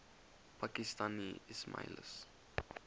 pakistani ismailis